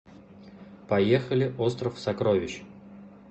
поехали остров сокровищ